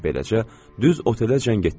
Beləcə, düz otelə cəng etdilər.